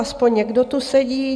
Aspoň někdo tu sedí.